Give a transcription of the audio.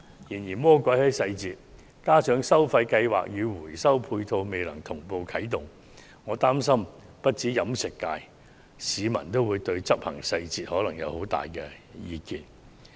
然而，魔鬼往往在細節之中，加上收費計劃與回收配套未能同步啟動，我擔心不單飲食界，連市民也會對執行細節有很大意見。